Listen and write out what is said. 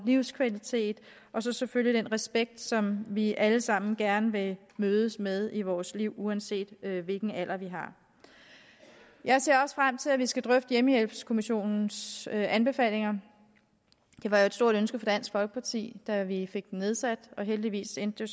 livskvalitet og så selvfølgelig den respekt som vi alle sammen gerne vil mødes med i vores liv uanset hvilken alder vi har jeg ser også frem til at vi skal drøfte hjemmehjælpskommissionens anbefalinger det var et stort ønske fra dansk folkeparti da vi fik den nedsat og heldigvis endte det